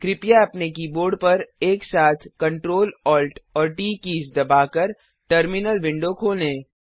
कृपया अपने कीबोर्ड पर एक साथ Ctrl Alt और ट कीज़ दबाकर टर्मिनल विंडो खोलें